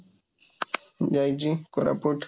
ଯାଇଛି, କୋରାପୁଚ